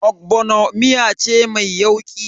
Ogbono miya ce mai yauƙi.